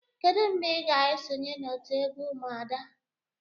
Kedu mgbe ị ga-esonye na otu egwu umuada?